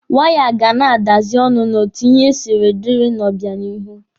Waya ga na-adazi ọnụ n'otu ihe siri dịrị n'obịanihu.